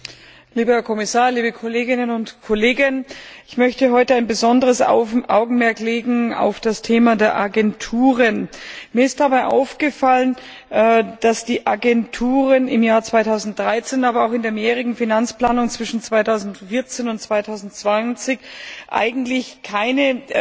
Frau Präsidentin, lieber Herr Kommissar, liebe Kolleginnen und Kollegen! Ich möchte heute besonderes Augenmerk auf das Thema der Agenturen legen. Mir ist dabei aufgefallen, dass die Agenturen im Jahr 2013, aber auch in der mehrjährigen Finanzplanung zwischen 2014 und 2020 eigentlich keine